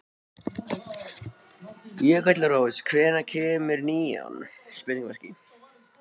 Jökulrós, hvenær kemur nían?